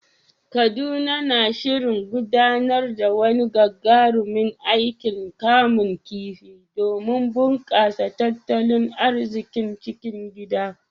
Kaduna na shirin gudanar da wani gagarumin aikin kamun kifi domin bunƙasa tattalin arzikin cikin gida.